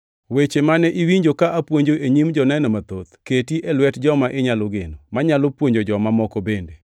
Weche mane iwinjo ka apuonjo e nyim joneno mathoth keti e lwet joma inyalo geno, manyalo puonjo joma moko bende.